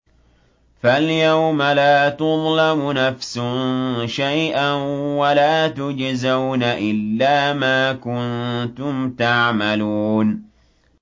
فَالْيَوْمَ لَا تُظْلَمُ نَفْسٌ شَيْئًا وَلَا تُجْزَوْنَ إِلَّا مَا كُنتُمْ تَعْمَلُونَ